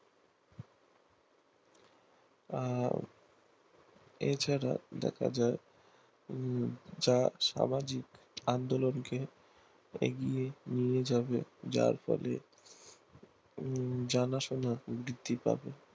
আহ এছাড়া দেখা যায় যা সামাজিক আন্দোলনকে এগিয়ে নিয়ে যাবে যার ফলে জানাশোনা বৃদ্ধি পাবে